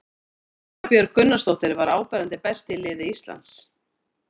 Sara Björg Gunnarsdóttir var áberandi best í liði Íslands.